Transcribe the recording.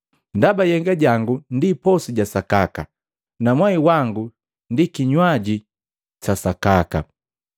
Ndaba nhyega jangu ndi posu ja sakaka, na mwai wa nikinywaji sa sakaka.